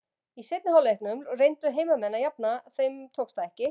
Í seinni hálfleiknum reyndu heimamenn að jafna, þeim tókst það ekki.